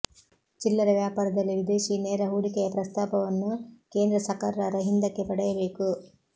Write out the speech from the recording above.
ಚಿಲ್ಲರೆ ವ್ಯಾಪಾರದಲ್ಲಿ ವಿದೇಶೀ ನೇರ ಹೂಡಿಕೆಯ ಪ್ರಸ್ತಾಪವನ್ನು ಕೇಂದ್ರ ಸಕರ್ಾರ ಹಿಂದಕ್ಕೆ ಪಡೆಯಬೇಕು